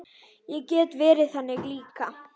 Ég get verið þannig líka.